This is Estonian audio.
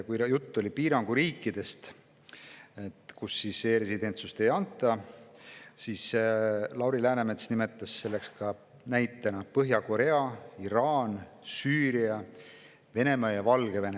Kui jutt oli e‑residentsuse piiranguga riikidest, siis Lauri Läänemets nimetas näitena Põhja-Koread, Iraani, Süüriat, Venemaad ja Valgevenet.